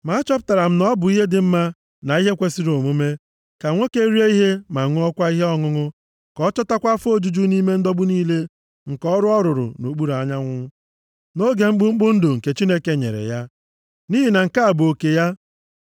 Ma achọpụtara m na ọ bụ ihe dị mma na ihe kwesiri omume, ka nwoke rie ihe ma ṅụọkwa ihe ọṅụṅụ Ka ọ chọtakwa afọ ojuju nʼime ndọgbu niile nke ọrụ ọ ruru nʼokpuru anyanwụ, nʼoge mkpụmkpụ ndụ nke Chineke nyere ya. Nʼihi na nke a bụ oke ya.